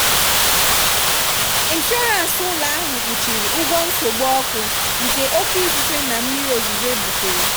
inshọrans ụlọ ahụ kpuchiri ụgwọ nsogbu ọkụ nke oké ifufe na mmiri ozuzo butere.